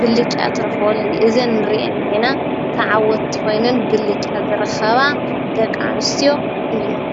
ብሊጫ ትራኾል እዘን ርእን ኔና ተዓወትትኾይነን ብሊጫ ዘረኸባ ደቃንስቲዮ እየን::